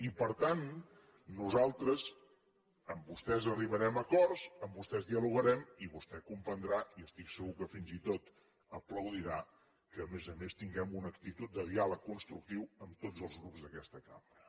i per tant nosaltres amb vostès arribarem a acords amb vostès dialogarem i vostè comprendrà i estic segur que fins i tot aplaudirà que a més a més tinguem una actitud de diàleg constructiu amb tots els grups d’aquesta cambra